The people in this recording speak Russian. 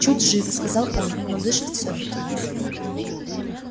чуть жив сказал он но дышит всё-таки